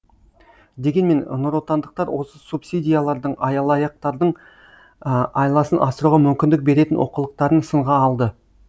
дегенмен нұротандықтар осы субсидиялардың айласын асыруға мүмкіндік беретін олқылықтарын сынға алды